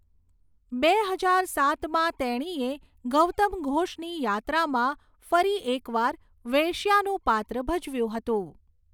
બે હજાર સાતમાં તેણીએ ગૌતમ ઘોષની યાત્રામાં ફરી એક વાર વેશ્યાનું પાત્ર ભજવ્યું હતું.